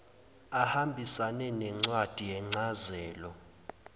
ahambisane nencwadi yencazelo